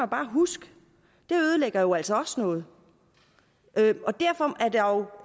bare huske det ødelægger jo altså også noget derfor